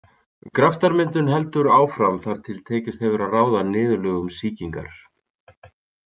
Graftarmyndun heldur áfram þar til tekist hefur að ráða niðurlögum sýkingar.